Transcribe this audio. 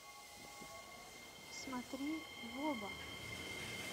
смотри в оба